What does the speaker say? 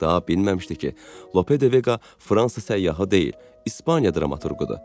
Daha bilməmişdi ki, Lope de Vega Fransa səyyahı deyil, İspaniya dramaturqudur.